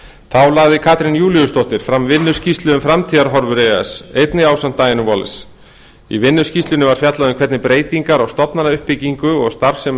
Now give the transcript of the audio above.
þá lagði katrín júlíusdóttir fram vinnuskýrslu um framtíðarhorfur e e s einnig ásamt diönu wallis í vinnuskýrslunni var fjallað um hvernig breytingar á stofnanauppbyggingu og starfsemi